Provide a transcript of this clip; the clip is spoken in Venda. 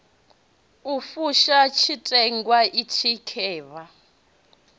u fusha tshiteṅwa itshi khevha